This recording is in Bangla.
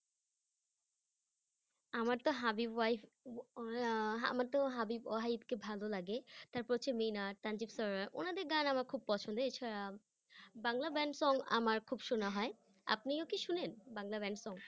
আমার তো হাবিব ওয়াহিদ আহ হ্যাঁ আমার তো হাবিব ওয়াহিদ কে ভালো লাগে তারপর হচ্ছে মিনার সঞ্জীব sir উনাদের গান আমার খুব পছন্দের এছাড়া বাংলা band song আমার খুব শুনা হয়, আপনিও কি শুনেন বাংলা band song